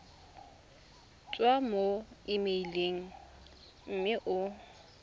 tswa mo emeileng mme o